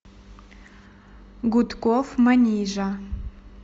гудков манижа